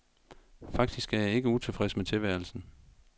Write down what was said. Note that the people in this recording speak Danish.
Faktisk er jeg ikke utilfreds med tilværelsen.